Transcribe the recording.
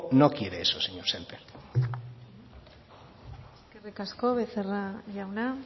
no quiere eso señor sémper eskerrik asko becerra jauna